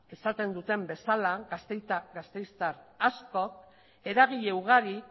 esaten duten bezala gasteiztar askok eragile ugarik